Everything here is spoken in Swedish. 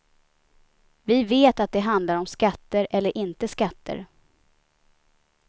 Vi vet att det handlar om skatter eller inte skatter.